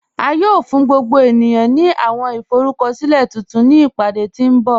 À yóò fún gbogbo ènìyàn ní àwọn ìforúkọ̀silẹ̀ tuntun ni ìpádé tí nbọ̀.